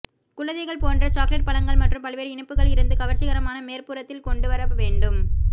குழந்தைகள் போன்ற சாக்லேட் பழங்கள் மற்றும் பல்வேறு இனிப்புகள் இருந்து கவர்ச்சிகரமான மேல்புறத்தில் கொண்டு வர வேண்டும்